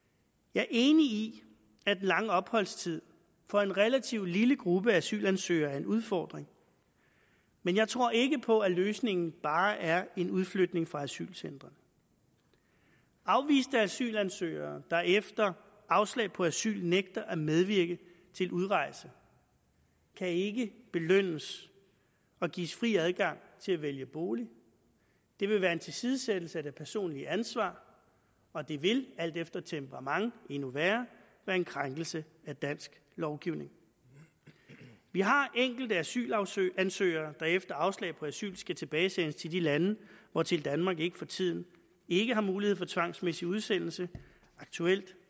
jeg er enig i at den lange opholdstid for en relativt lille gruppe af asylansøgere er en udfordring men jeg tror ikke på at løsningen bare er en udflytning fra asylcentrene afviste asylansøgere der efter afslag på asyl nægter at medvirke til udrejse kan ikke belønnes og gives fri adgang til at vælge bolig det vil være en tilsidesættelse af det personlige ansvar og det vil alt efter temperament endnu værre være en krænkelse af dansk lovgivning vi har enkelte asylansøgere der efter afslag på asyl skal tilbagesendes til de lande hvortil danmark for tiden ikke har mulighed for tvangsmæssig udsendelse aktuelt